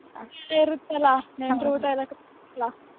ಆಮೇಲೆ ಇರತ್ತಲ್ಲ ನೆಂಟ್ರ್ ಊಟ ಎಲ್ಲಾ ಇರತ್ತಲ್ಲ